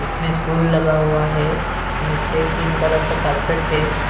इसमें फूल लगा हुआ है नीचे ग्रीन कलर का कार्पेट है।